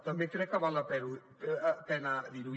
també crec que val la pena dir ho